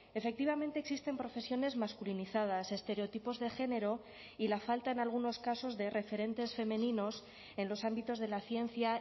efectivamente existen profesiones masculinizadas estereotipos de género y la falta en algunos casos de referentes femeninos en los ámbitos de la ciencia